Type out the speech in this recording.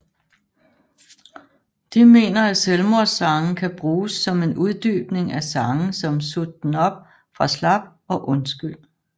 De mener at Selvmords sange kan bruges som en uddybning af sange som Sut den op fra slap og Undskyld